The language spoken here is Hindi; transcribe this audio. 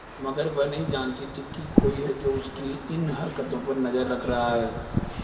मगर वह नहीं जानती थी कोई है जो उसकी इन हरकतों पर नजर रख रहा है